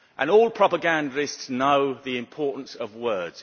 All propagandists know the importance of words.